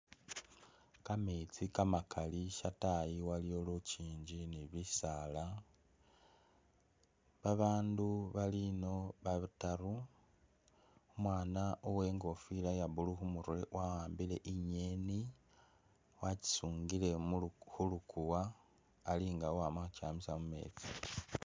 Kameetsi kamakali lwatayi waliyo lukyingi ni bisaala babandu bali ino bataru, umwana wengofila ya blue kumurwe wahambile inyeni wagyisungile khuluguwa alinga wama khu kyamisa mumetsi.